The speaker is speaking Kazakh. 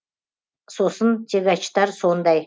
сосын тягачтар сондай